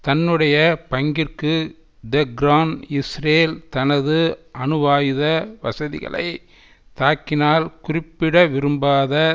தன்னுடைய பங்கிற்கு Tehran Israel தனது அணுவாயுத வசதிகளை தாக்கினால் குறிப்பிடவிரும்பாத